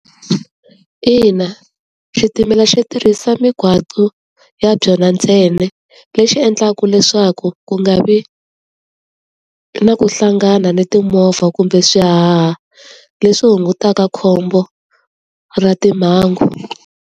Ina, xitimela xo tirhisa mgwaqo ya byona ntsena lexi endlaka leswaku ku nga vi na ku hlangana ni timovha kumbe swihaha, leswi hungutaka khombo ra timhangu.